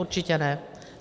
Určitě ne.